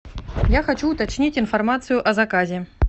я хочу уточнить информацию о заказе